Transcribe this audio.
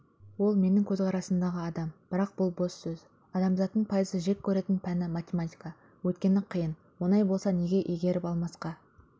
ол менің көзқарасымдағы адам бірақ бұл бос сөз адамзаттың пайызы жек көретін пәні математика өйткені қиын оңай болса неге игеріп алмасқа